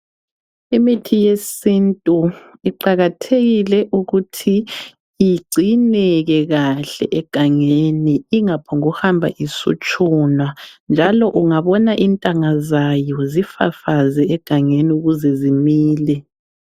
Imithi yesintu iqakathekile ukuthi igcineke kakhe egangeni inga phongu hamba isutshunwa njalo ungabona intanga zayo zifafaze egangeni ukuze zimile